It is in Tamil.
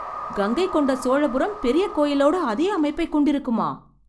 கங்கை கொண்ட சோழபுரம் பெரிய கோயிலோட அதே அமைப்பை கொண்டிருக்குமா?